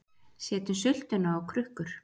Setjum sultuna á krukkur